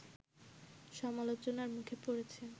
সমালোচনার মুখে পড়েছে